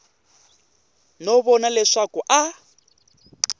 no vona leswaku a a